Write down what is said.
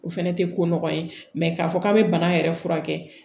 O fɛnɛ tɛ ko nɔgɔ ye mɛ k'a fɔ k'an bɛ bana yɛrɛ furakɛ